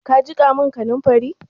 Ka jiƙa min kaninfari?